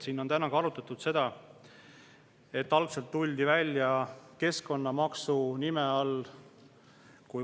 Siin on täna arutatud ka seda, et algselt tuli see välja keskkonnamaksu nime all.